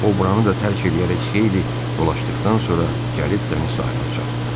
O buranı da tərk eləyərək xeyli dolaşdıqdan sonra gəlib dəniz sahilinə çatdı.